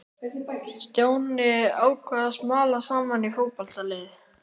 Stjáni ákvað að smala saman í fótboltalið.